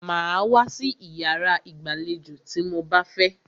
Màá wá sí iyàrá ìgbàlejò tí mo bá fẹ́!